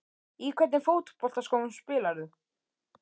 Í hvernig fótboltaskóm spilar þú?